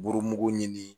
Burumugu ɲini